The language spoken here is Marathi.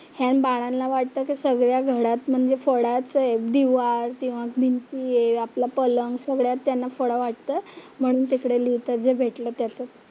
ह्यां बाळांला वाटतं की सगळ्या घरात म्हणजे फळाच आहे, दीवार किंवा भिंती आपला पलंग सगळ्यावर त्यांना फळा वाटतोय. म्हणून तिकडे लिहितात, जे भेटलं त्यातच.